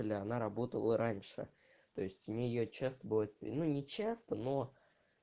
бля она работала раньше то есть мне её часто бывает ну не часто но